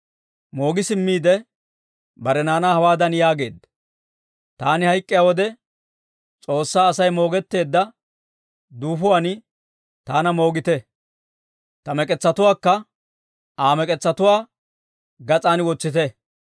Moogi simmiide bare naanaa hawaadan yaageedda; «Taani hayk'k'iyaa wode, S'oossaa Asay moogetteedda duufuwaan taana moogite; ta mek'etsatuwaakka Aa mek'etsatuwaa gas'aan wotsite.